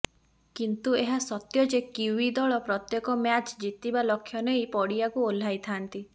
କିନ୍ତୁ ଏହା ସତ୍ୟ ଯେ କିଓ୍ବି ଦଳ ପ୍ରତ୍ୟେକ ମ୍ୟାଚ୍ ଜିତିବା ଲକ୍ଷ୍ୟ ନେଇ ପଡ଼ିଆକୁ ଓହ୍ଲାଇଥାନ୍ତି